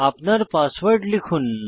আপনার পাসওয়ার্ড লিখুন